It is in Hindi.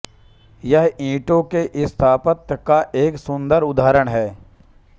यह ईंटो के स्थापत्य का एक सुन्दर उदाहरण है